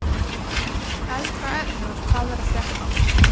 Eldra efni úr Hvað er að frétta?